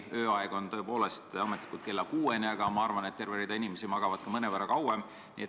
Ööaeg kestab tõepoolest ametlikult kella kuueni, aga ma arvan, et terve hulk inimesi magab mõnevõrra kauem.